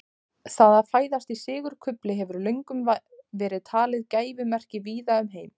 Það að fæðast í sigurkufli hefur löngum verið talið gæfumerki víða um heim.